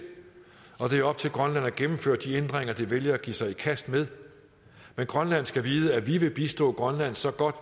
og det er op til grønland at gennemføre de ændringer det vælger at give sig i kast med men grønland skal vide at vi vil bistå grønland så godt